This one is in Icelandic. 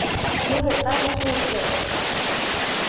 Nú hefur dæmið snúist við.